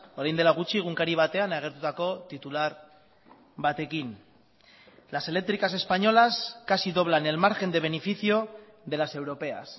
orain dela gutxi egunkari batean agertutako titular batekin las eléctricas españolas casi doblan el margen de beneficio de las europeas